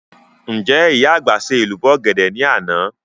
Ǹjẹ́ ìyá àgbà ṣe èlùbọ́ ọ̀gẹ̀dẹ̀ ní àná?